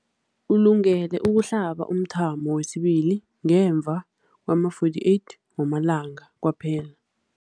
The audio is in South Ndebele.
Ulungele ukuhlaba umthamo wesibili ngemva kwama-42 wamalanga kwaphela.